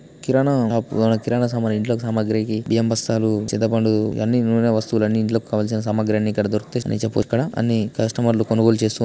shots kirana shop store ఇది kirana shop ఎవన్న కిరాణా సామాన్ ఇంట్లో సామాగ్రికి బియ్యం బస్తాలు--